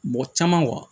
Mɔgɔ caman